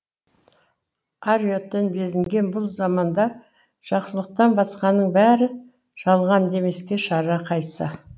ар ұяттан безінген бұл заманда жақсылықтан басқаның бәрі жалған демеске шара қайсы